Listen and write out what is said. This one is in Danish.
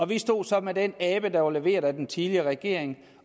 vi stod så med den abe der var leveret af den tidligere regering